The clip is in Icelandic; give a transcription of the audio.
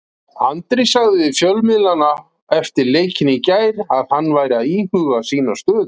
Andri sagði við fjölmiðla eftir leikinn í gær að hann væri að íhuga sína stöðu.